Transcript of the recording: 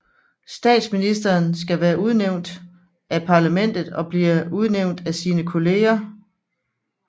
Statsministeren skal være medlem af parlamentet og bliver udnævnt af sine kolleger